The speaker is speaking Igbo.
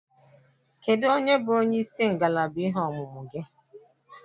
Kedụ onye bụ onyeisi ngalaba ihe ọmụmụ gị?